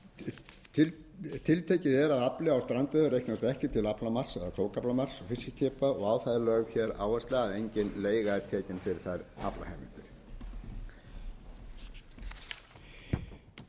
afli á strandveiðar reiknist ekki til aflamarks eða krókaflamarks fiskiskipa og á það er lögð hér áhersla að engin